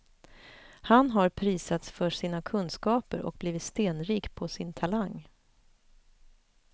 Han har prisats för sina kunskaper och blivit stenrik på sin talang.